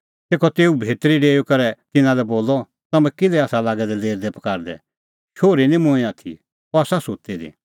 तेखअ तेऊ भितरी डेऊई करै तिन्नां लै बोलअ तम्हैं किल्है आसा लागै दै लेरदैपकारदै शोहरी निं मूंईं दी आथी अह आसा सुत्ती दी